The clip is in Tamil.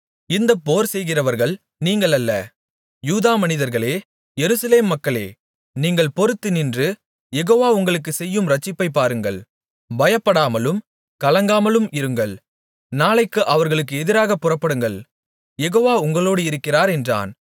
இந்தப் போர் செய்கிறவர்கள் நீங்கள் அல்ல யூதா மனிதர்களே எருசலேம் மக்களே நீங்கள் பொறுத்து நின்று யெகோவா உங்களுக்குச் செய்யும் இரட்சிப்பைப் பாருங்கள் பயப்படாமலும் கலங்காமலும் இருங்கள் நாளைக்கு அவர்களுக்கு எதிராகப் புறப்படுங்கள யெகோவா உங்களோடு இருக்கிறார் என்றான்